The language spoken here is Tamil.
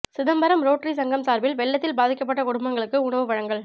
சிதம்பரம் ரோட்டரி சங்கம் சார்பில் வெள்ளத்தில் பாதிக்கப்பட்ட குடும்பங்களுக்கு உணவு வழங்கல்